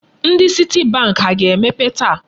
Ndị citibank ha ga-emepe taa?